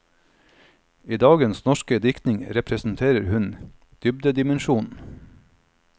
I dagens norske diktning representerer hun dybdedimensjonen.